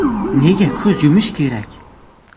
Nega ko‘z yumish kerak?